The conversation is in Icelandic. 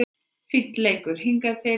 Fínn leikur hingað til